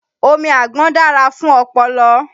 Omi àgbọn dára fún ọpọlọ.